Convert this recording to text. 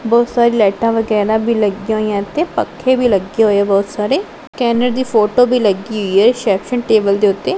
ਬਹੁਤ ਸਾਰੀ ਲਾਈਟਾਂ ਵਗੈਰਾ ਵੀ ਲੱਗਿਆਂ ਹੋਈਆਂ ਤੇ ਪੱਖੇ ਵੀ ਲੱਗੇ ਹੋਏ ਐ ਬਹੁਤ ਸਾਰੇ ਸਕੈਨਰ ਦੀ ਫ਼ੋਟੋ ਵੀ ਲੱਗੀ ਹੋਈ ਐ ਰਿਸੈਪਸ਼ਨ ਟੇਬਲ ਦੇ ਓੱਤੇ।